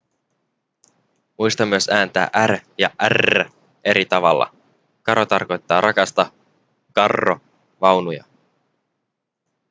muista myös ääntää r ja rr eri tavalla caro tarkoittaa rakasta carro vaunuja